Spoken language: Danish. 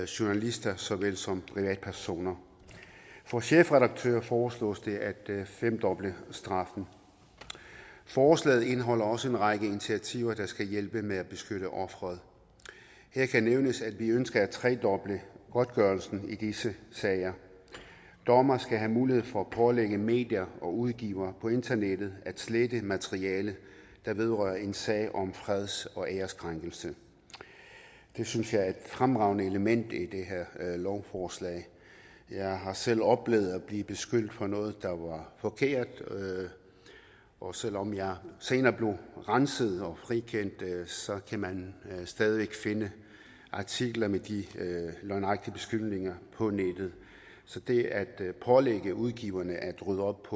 journalister så vel som privatpersoner for chefredaktører foreslås det at femdoble straffen forslaget indeholder også en række initiativer der skal hjælpe med at beskytte offeret her kan nævnes at vi ønsker at tredoble godtgørelsen i disse sager dommeren skal have mulighed for at pålægge medier og udgivere på internettet at slette materiale der vedrører en sag om freds og ærekrænkelse det synes jeg er et fremragende element i det her lovforslag jeg har selv oplevet at blive beskyldt for noget der var forkert og selv om jeg senere blev renset og frikendt så kan man stadig væk finde artikler med de løgnagtige beskyldninger på nettet så det at pålægge udgiverne at rydde op